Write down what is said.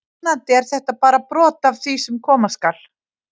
Vonandi er þetta bara brot af því sem koma skal!